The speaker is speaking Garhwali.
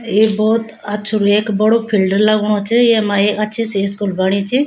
ये भोत अच्छू रेक बड़ु फील्ड लगणु च येमा एक अच्छी सी स्कूल बणी चि।